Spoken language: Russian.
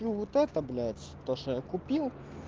ну вот это блять то что я купил